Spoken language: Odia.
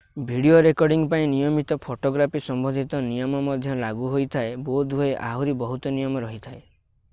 ଭିଡିଓ ରେକର୍ଡିଙ୍ଗ୍ ପାଇଁ ନିୟମିତ ଫୋଟୋଗ୍ରାଫୀ ସମ୍ବନ୍ଧିତ ନିୟମ ମଧ୍ୟ ଲାଗୁ ହୋଇଥାଏ ବୋଧହୁଏ ଆହୁରି ବହୁତ ନିୟମ ରହିଥାଏ